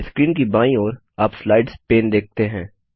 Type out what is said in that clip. screen की बाईं ओर आप स्लाइड्स पैन देखते हैं